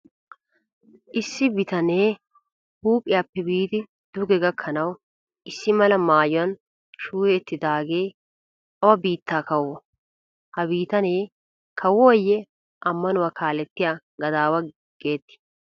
Issi bitanee huuphphiyappe biidi duge gakkanawu issi mala maayuwan shuuyeettidaagee awa biittaa kawoo? Ha bitanee kawoyee ammanuwa kaalettiya gadawa geettii?